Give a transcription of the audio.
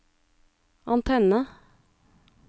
antenne